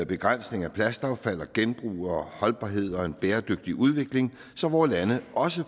begrænsning af plastaffald og genbrug og holdbarhed og en bæredygtig udvikling så vore lande også